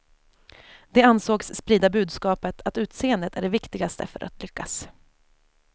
De ansågs sprida budskapet att utseendet är det viktigaste för att lyckas.